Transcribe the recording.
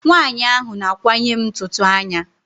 Nwaanyi ahụ na-akwanye m ntutu anya.